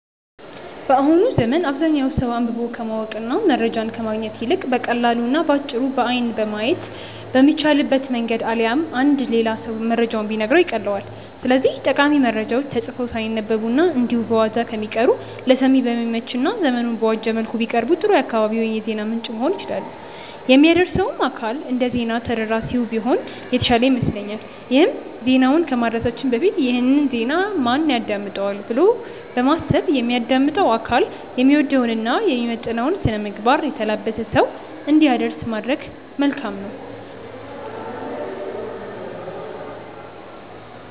በአሁኑ ዘመን አብዛኛው ሰው አንብቦ ከማወቅ እና መረጃን ከማግኘት ይልቅ በቀላሉ እና በአጭሩ በአይን ማየት በሚቻልበት መንገድ አሊያም አንድ ሌላ ሰው መረጃውን ቢነግረው ይቀልለዋል። ስለዚህም ጠቃሚ መረጃዎች ተጽፈው ሳይነበቡ እና እንዲሁ በዋዛ ከሚቀሩ ለሰሚ በሚመች እና ዘመኑን በዋጀ መልኩ ቢቀርቡ ጥሩ የአካባቢው የዜና ምንጭ መሆን ይችላሉ። የሚያደርሰውም አካል እንደዜና ተደራሲው ቢሆን የተሻለ ይመስለኛል ይሄም ዜናውን ከማድረሳችን በፊት "ይህን ዜና ማን ያዳምጠዋል?'' ብሎ በማሰብ የሚያዳምጠው አካል የሚወደውን እና የሚመጥነውን ስነምግባር የተላበሰ ሰው እንዲያደርስ ማድረግ መልካም ነው።